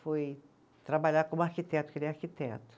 Foi trabalhar como arquiteto, porque ele é arquiteto.